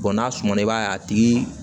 n'a suma i b'a ye a tigi